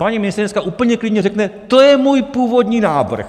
Paní ministryně dneska úplně klidně řekne: To je můj původní návrh!